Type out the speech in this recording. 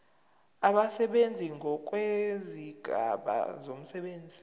abasebenzi ngokwezigaba zomsebenzi